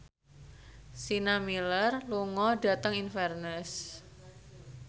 Sienna Miller lunga dhateng Inverness